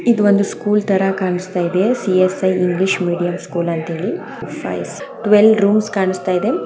ಇದು ಒಂದು ಸ್ಕೂಲ್ ತರ ಕಾಣಿಸ್ತಾ ಇದೆ C S I English medium school ಅಂತ ಹೇಳಿ ಟ್ವೇಲ್ ರೂಮ್ಸ್ ಕಾಣಿಸ್ತಾ ಇದೆ .